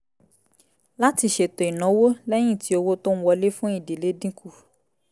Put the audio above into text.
láti ṣètò ìnáwó lẹ́yìn tí owó tó ń wọlé fún ìdílé dín kù